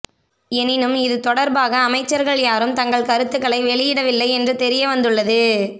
எனினும் இது தொடர்பாக அமைச்சர்கள் யாரும் தங்கள் கருத்துக்களை வெளியிடவில்லை என்று தெரிய வந்துள்ளது